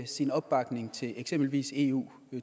sin opbakning til eksempelvis eu